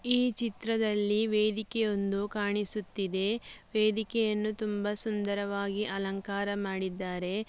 ಈ ಚಿತ್ರದಲ್ಲಿ ವೇದಿಕೆಯೊಂದು ಕಾಣಿಸುತ್ತಿದೆ ವೇದಿಕೆಯನ್ನು ತುಂಬಾ ಸುಂದರವಾಗಿ ಅಲಂಕಾರ ಮಾಡಿದ್ದಾರೆ.